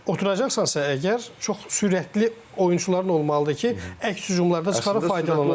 Oturacaqsansa əgər, çox sürətli oyunçuların olmalıdır ki, əks hücumlarda çıxarıb faydalanasan.